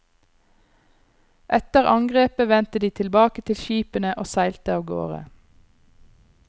Etter angrepet vendte de tilbake til skipene og seilte avgårde.